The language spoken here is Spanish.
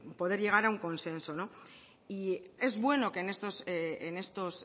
poder llegar a un consenso y es bueno que en estos